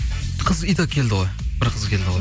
қыз и так келді ғой бір қыз келді ғой